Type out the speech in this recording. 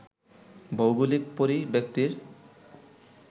ভৌগোলিক পরিব্যাপ্তির